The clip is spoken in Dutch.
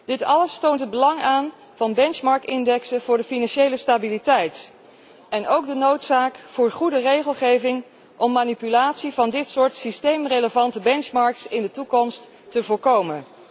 Dit alles toont het belang aan van benchmark indexen voor de financiële stabiliteit en ook de noodzaak van goede regelgeving om manipulatie van dit soort systeemrelevante benchmarks in de toekomst te voorkomen.